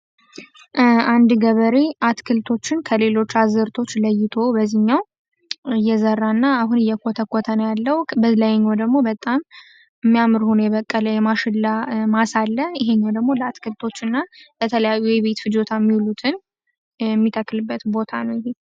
አንድ ገበሬ አትክልቶችን ከሌሎች አዝርቶች ለይቶ በዝህኛው እየዘራ እና አሁን እየኮተቆተነ ያለው። በለይኞ ደግሞ በጣም የሚያምርሁኑ የበቀለ የማሽላ ማሳ አለ ። ይህኞው ደግሞ ለአትክልቶች እና በተለያዩ ይቤትፍ ጆታ ሚውሉትን የሚተክልበት ቦታ ነው።